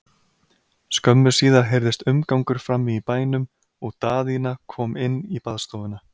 Skömmu síðar heyrðist umgangur frammi í bænum og Daðína kom inn í baðstofuna.